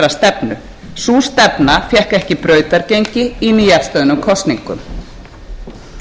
brautargengi í nýafstöðnum kosningum vissulega lýstu einstaka frambjóðendur og flokksmenn í öllum